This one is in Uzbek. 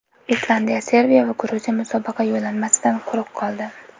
Islandiya, Serbiya va Gruziya musobaqa yo‘llanmasidan quruq qoldi.